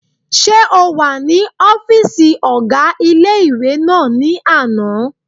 Ṣé o wà ní ọ́fìsì ọgá ilé-ìwé náà ní àná?